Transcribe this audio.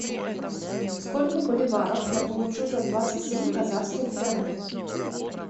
сколько боливаров я получу за двадцать семь казахских тенге